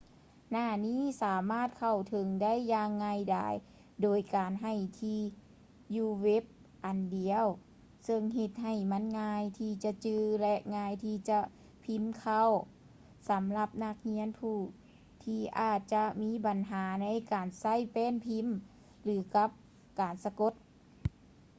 ໜ້ານີ້ ສາມາດເຂົ້າເຖິງໄດ້ຢ່າງງ່າຍດາຍ ໂດຍການໃຫ້ທີ່ຢູ່ເວັບອັນດຽວ ຊຶ່ງເຮັດໃຫ້ມັນງ່າຍທີ່ຈະຈື່ ແລະ ງ່າຍທີ່ຈະພີມເຂົ້າ ສຳລັບນັກຮຽນຜູ້ທີ່ອາດຈະມີບັນຫາໃນການໃຊ້ແປ້ນພີມ ຫຼື ກັບການສະກົດ